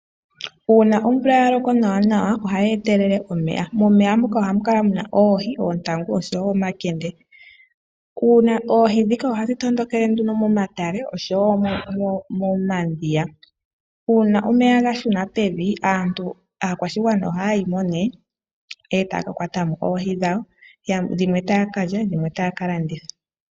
Uuna omvula ya loko nawanawa ohayi etelele omeya. Momeya muka ohamu kala mu na oohi, oontangu oshowo omakende. Oohi ndhika ohadhi tondokele nduno momatale oshowo momadhiya. Uuna omeya ga shuna pevi aakwashigwana ohaya yi mo e taya ka kwata mo oohi dhawo dhimwe taa ka lya dhimwe taya ka landitha.